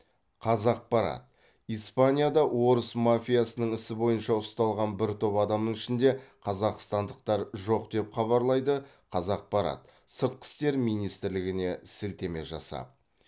қазақпарат испанияда орыс мафиясының ісі бойынша ұсталған бір топ адамның ішінде қазақстандықтар жоқ деп хабарлайды қазақпарат сыртқы істер министрлігіне сілтеме жасап